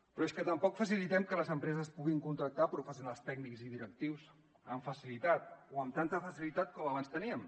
però és que tampoc facilitem que les empreses puguin contractar professionals tècnics i directius amb facilitat o amb tanta facilitat com abans teníem